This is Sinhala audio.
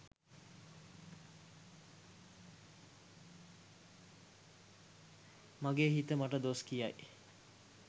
මගේ හිත මට දොස් කියයි,